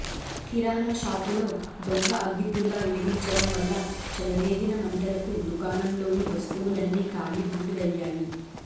కిరాణా షాపులో దొంగ అగ్గిపుల్ల వెలిగించడం వల్ల చెలరేగిన మంటలకు దుకాణంలోని వస్తువులన్నీ కాలి బూడిదయ్యాయి